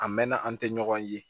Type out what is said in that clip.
A mɛnna an tɛ ɲɔgɔn ye